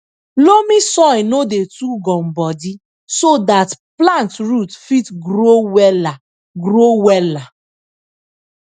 loamy soil no dey too gumbodi so dat plant root fit grow wella grow wella